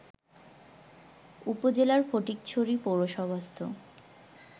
উপজেলার ফটিকছড়ি পৌরসভাস্থ